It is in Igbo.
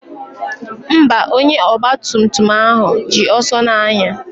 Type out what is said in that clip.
Mba, onye ọgba tum tum ahụ ji ọsọ na-anya.